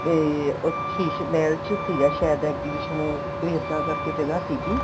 ਤੇ ਉਹ ਸ਼ੀਸ ਮਹਿਲ ਚ ਸੀਗਾ ਸਾਇਦ exhibition ਉਹ ਕੋਈ ਇਹਦਾ ਕਰਕੇ ਜਗ੍ਹਾ ਸੀਗੀ